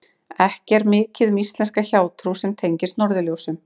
Ekki er mikið um íslenska hjátrú sem tengist norðurljósum.